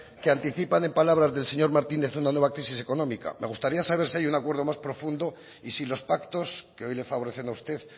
que anticipan en palabras del señor martínez una nueva crisis económica me gustaría saber si hay un acuerdo más profundo y si los pactos que hoy le favorecen a usted